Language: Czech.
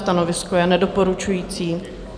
Stanovisko je nedoporučující.